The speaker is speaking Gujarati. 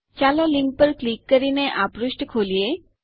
ચાલો લીંક પર ક્લિક કરીને આ પૃષ્ઠ ખોલીએ